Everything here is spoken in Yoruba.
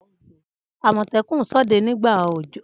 Amotekun sode nigba ọjọ.